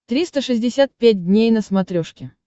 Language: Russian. триста шестьдесят пять дней на смотрешке